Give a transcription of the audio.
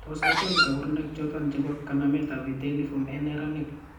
Tos achon kabarunaik choton chebo kanamet ab vitelliform en neranik ?